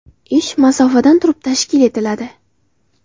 Ish masofadan turib tashkil etiladi .